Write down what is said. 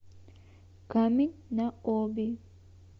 камень на оби